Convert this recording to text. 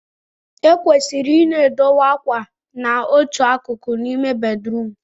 Ekwesịrị I na-edowe akwa na otu akụkụ n'ime bedrum